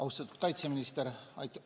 Austatud kaitseminister!